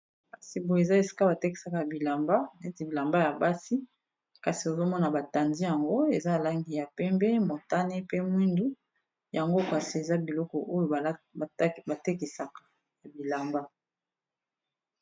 Kasi boye eza esika batekisaka bilamba neti bilamba ya basi kasi ozomona batandi yango eza na langi ya pembe motane pe mwindu yango kasi eza biloko oyo batekisaka ya bilamba.